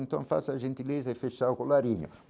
Então faça a gentileza e fechar o colarinho.